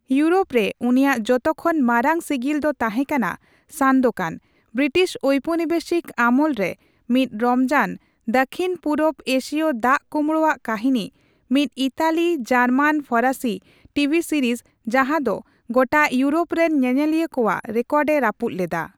Europe ᱨᱮ ᱩᱱᱤᱭᱟᱜ ᱡᱚᱛᱚᱠᱷᱚᱱ ᱢᱟᱨᱟᱝ ᱥᱤᱜᱤᱞ ᱫᱚ ᱛᱟᱸᱦᱮ ᱠᱟᱱᱟ ᱥᱟᱱᱫᱳᱠᱟᱱ, ᱵᱨᱤᱴᱤᱥ ᱳᱣᱯᱚᱱᱤᱵᱮᱥᱤᱠ ᱟᱢᱚᱞᱨᱮ ᱢᱤᱫ ᱨᱚᱢᱚᱡᱟᱱ ᱫᱟᱹᱠᱠᱷᱤᱱᱼᱯᱩᱨᱚᱵᱽ ᱮᱥᱤᱭᱚ ᱫᱟᱜᱼᱠᱳᱸᱵᱽᱲᱳ ᱟᱜ ᱠᱟᱹᱦᱤᱱᱤ, ᱢᱤᱫ ᱤᱛᱟᱞᱤᱼᱡᱟᱨᱢᱟᱱᱼᱯᱷᱚᱨᱟᱥᱤ ᱴᱤᱵᱷᱤ ᱥᱤᱨᱤᱡᱽ ᱡᱟᱸᱦᱟ ᱫᱚ ᱜᱚᱴᱟ ᱤᱣᱩᱨᱳᱯ ᱨᱮᱱ ᱧᱮᱧᱮᱞᱤᱭᱟᱹ ᱠᱚᱣᱟᱜ ᱨᱮᱠᱚᱨᱰ ᱮ ᱨᱟᱹᱯᱩᱫ ᱞᱮᱫᱟ ᱾